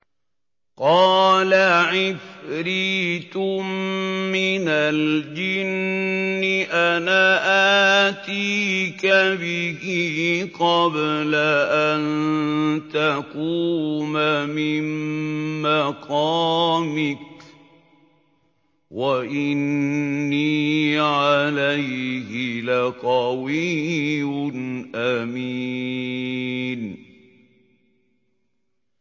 قَالَ عِفْرِيتٌ مِّنَ الْجِنِّ أَنَا آتِيكَ بِهِ قَبْلَ أَن تَقُومَ مِن مَّقَامِكَ ۖ وَإِنِّي عَلَيْهِ لَقَوِيٌّ أَمِينٌ